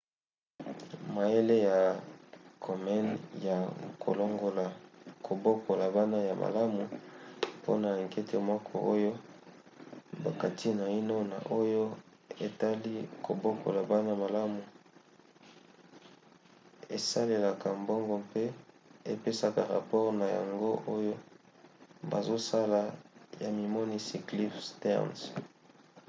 mayele ya komen ya kolongola kobokola bana ya malamu mpona ankete moko oyo bakati naino na oyo etali kobokola bana malamu esalelaka mbongo mpe epesaka rapore na yango oyo bazosala na mimonisi cliff stearns